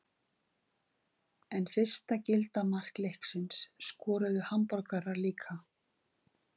En fyrsta gilda mark leiksins skoruðu Hamborgarar líka.